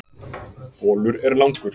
Bolur er langur.